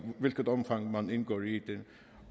hvilket omfang man indgår i det